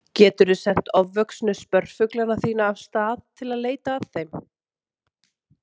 Geturðu sent ofvöxnu spörfuglana þína af stað til að leita að þeim.